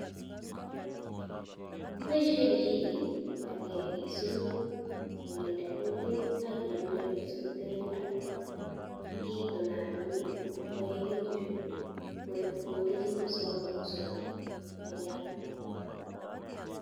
Kiboisie kichiget age isuruch, aginde kutit akiamde isurukte bendo, itonaton chu kaegitu chu koe, komengechitu sikobit kosurugok, akiyam.